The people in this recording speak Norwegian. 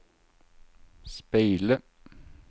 speile